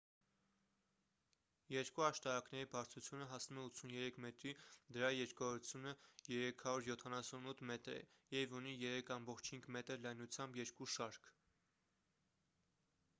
երկու աշտարակների բարձրությունը հասնում է 83 մետրի դրա երկարությունը 378 մետր է և ունի 3,5 մ լայնությամբ երկու շարք